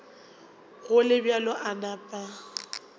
go le bjalo a napa